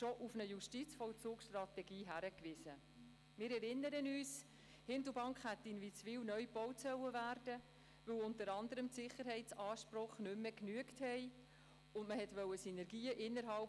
Ich nehme an, Anita Luginbühl, dass Sie sich auf die Diskussion über Punkt 2 freuen.